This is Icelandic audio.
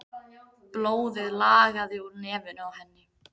Blóðið lagaði úr nefinu á henni.